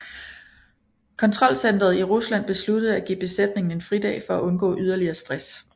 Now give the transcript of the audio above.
Kontrolcenteret i Rusland besluttede at give besætningen en fridag for at undgå yderligere stress